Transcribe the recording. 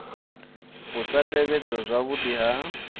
u sa tevhedzwa zwavhudi ha